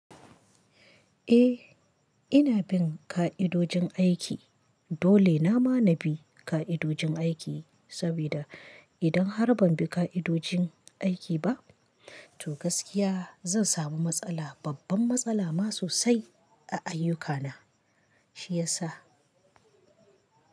Eh, ina bin ka'idojin aiki, dole nama na bi ka'idojin aiki sabida idan har ban bi ka'idojin aiki ba, to gaskiya zan samu matsala, babban matsala ma sosai a ayyukana shiyasa.